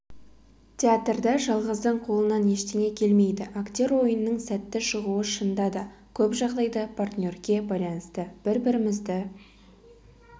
театрда жалғыздың қолынан ештеңе келмейді актер ойынының сәтті шығуы шынында да көп жағдайда партнерге байланысты бір-бірімізді